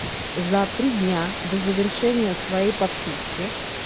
за три дня до завершения своей подписки